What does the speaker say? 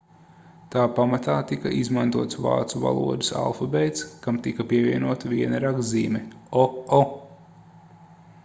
tā pamatā tika izmantots vācu valodas alfabēts kam tika pievienota viena rakstzīme õ/õ